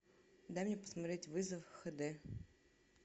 дай мне посмотреть вызов хэ дэ